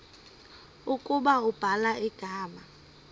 ukuba ubhala igama